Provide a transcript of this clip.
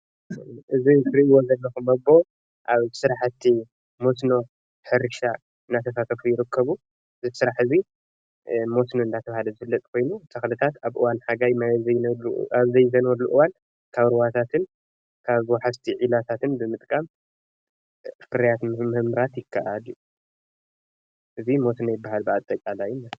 እዚ እትሪኣዎ ዘለኩም ፎቶ ኣብ ስራሕቲ መስኖ ሕርሻ እና ተሳተፉ ይርከቡ እዚ ስራሕ እዚ መስኖ ዳተብሃለ ዝፍለጥ ኮይኑ ተኽልታት ኣብ እዋን ሓጋይ ማይ ኣብዘይ ዘንበሉ እዋን ካብ ሩባታትን ወሓዝትን ዒላታትን ብምጥቃም ፍርያት ምምራት ይከኣል እዩ። እዚ መስኖ ይበሃል ብኣጠቃላይ።